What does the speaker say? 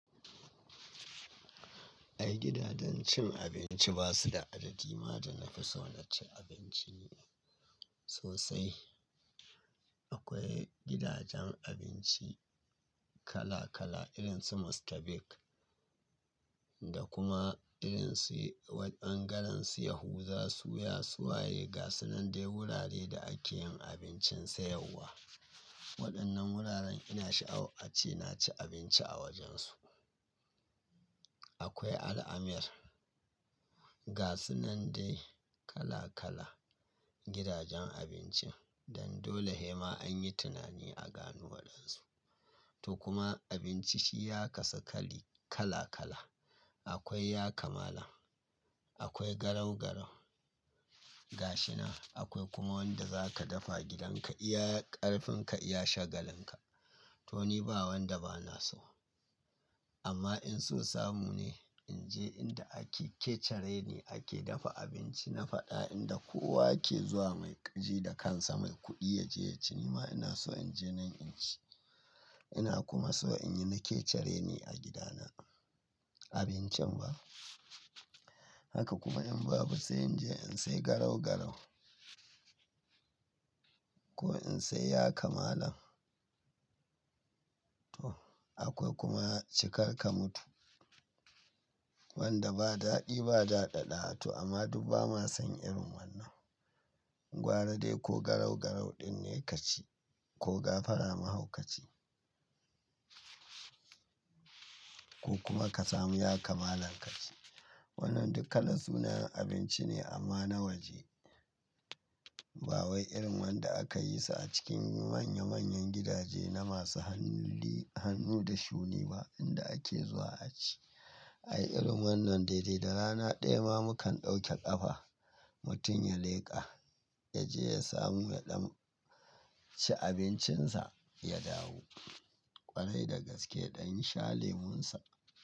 Ai gidajen cin abinci ba su da adadi ma da na fi so na ci abinci sosai. Akwai gidajen abinci kala kala, irin su Mr. Bigg da kuma irin su wad-- ɓangarensu yahuza, suya, suwaye, gasunandai wurare da ake yin abincin sayarwa. Waɗannan wuraren ina sha a-- a ce, na ci abinci a wajensu. Akwai Al-Amir, gasunandai kala kala, gidajen abinci, dan dole hema anyi tunani a gano waɗansu. To kuma abinci shi ya kasu kali-- kala kala. Akwai yakamalan, akwai garau-garau gashina, akwai kuma wanda za ka dafa gidanka iya ƙarfin ka iya shagalin ka. To ni ba wanda ba na so. Amma in so samu ne, in je inda ake-- kecere ni ake dafa abinci. Na faɗa inda kowa yake zuwa mai ƙarhi da kansa, mai kuɗi ya ji ya ce, nima ina so in je nan in ci. Ina kuma so in yi na kecere ni a gidana abincin ba. Haka kuma in babu sai in je in sai garau-garau. Ko in sai yakamalan. To akwai kuma ci kar ka mutu, wanda ba daɗi ba, da ɗaɗaɗawa. To amma duk ba ma san irin wannan. Gwara dai ko garau-garau ɗin ne ka ci, ko gafara mahau ka ci. Ko kuma ka samu yakamalan ka ci. Waɗannan duk kalan sunayen abinci ne amma na waje. Ba wai irin wanda aka yi su a cikin manya manyan gidaje na masu hanli-- hannu da shuni ba inda ake zuwa a ci. Ai irin wannan dai dai da rana ɗaya ma mukan ɗauke ƙafa, mutum ya leƙa, ya je ya samu ya ɗan ci abincinsa, ya dawo. Ƙwarai da gaske yaɗan sha lemon sa.